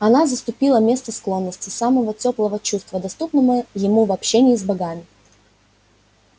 она заступила место склонности самого тёплого чувства доступного ему в общении с богами